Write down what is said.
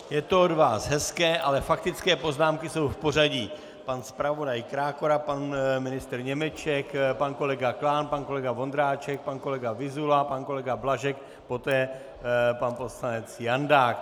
Je to od vás hezké, ale faktické poznámky jsou v pořadí: pan zpravodaj Krákora, pan ministr Němeček, pan kolega Klán, pan kolega Vondráček, pan kolega Vyzula, pan kolega Blažek, poté pan poslanec Jandák.